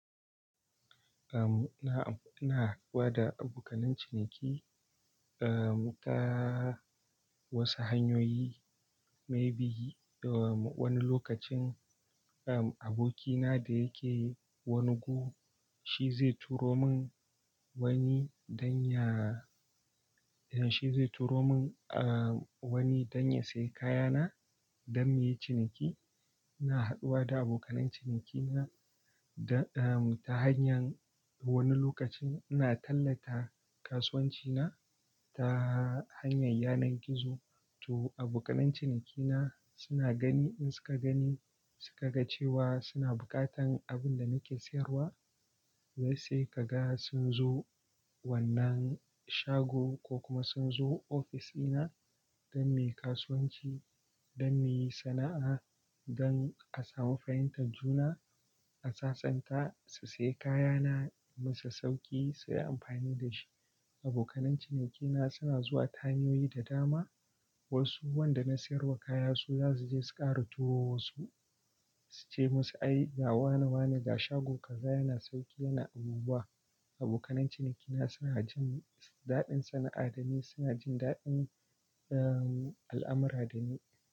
Eh, na, am ina haɗuwa da abokan ciniki, eh, ta wasu hanyoyi, maybe wani lokacin, eh, abokina da yake wani gu, shi zai turomin wani don ya, idan shi zai turomin, eh, wani don ya sayi kayana don mu yi ciniki. Ina haɗuwa da abokanan cinikina da, eh, ta hanyar wani lokacin ina tallata kasuwancina ta hanyar yanar gizo. To abokanan cinikina suna gani, in suka gani, suka ga cewa suna buƙatar abinda nake sayarwa, wasu sai kaga sun zo wannan shago ko kuma sunzo ofishina don mu yi kasuwanci, don muyi sana'a, don a samu fahimtar juna, a sasanta su sayi kayana in musu sauƙi su yi amfani dashi. Abokanan cinikina suna zuwa ta hanyoyi da dama. Wasu wanda na sayarwa kaya su zasu zo sukara turo wasu. Suce musu, "Ai, ga wane, wane ga shago kaza yana sauƙi, yana abubuwa." Abokanan cinikina suna jin daɗin sana'a dani, suna jin daɗin, eh, al'amurra dani.